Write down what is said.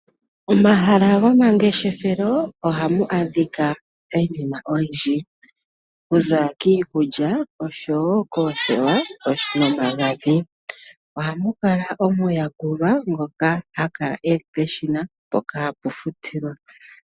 Omahala gomangeshefelo ohamu adhika iinima oyindji. Okuza kiikulya oshowo koothewa nomagadhi . Ohamu kala omuyakuli ngoka ha kala e li peshina mpoka hapu futilwa.